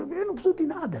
Eu não preciso de nada.